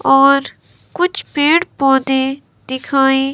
और कुछ पेड़ पौधे दिखाएं--